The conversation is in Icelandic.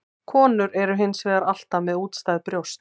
Konur eru hins vegar alltaf með útstæð brjóst.